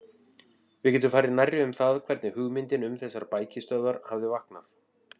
Við getum farið nærri um það, hvernig hugmyndin um þessar bækistöðvar hafði vaknað.